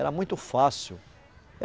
Era muito fácil.